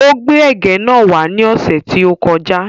Ó gbé ẹ̀gẹ́ náà wá ní ọ̀sẹ̀ tí ó kọ já.